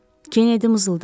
Kennedy mızıldadı.